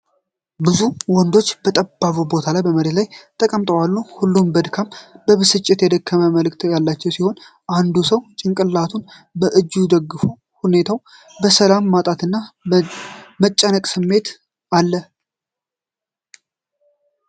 ብዙ ወንዶች በጠባብ ቦታ ላይ መሬት ተቀምጠው አሉ። ሁሉም በድካምና በብስጭት የደከመ መልክ ያላቸው ሲሆን፣ አንዱ ሰው ጭንቅላቱን በእጁ ደግፏል። ሁኔታው የሰላም ማጣትና የመጨነቅ ስሜት አለ።